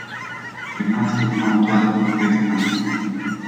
Pri nas poznamo dva tipa pehtrana.